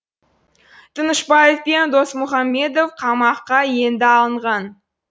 тынышбаев пен досмұхамедов қамаққа енді алынған